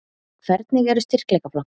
Hvernig eru styrkleikaflokkarnir?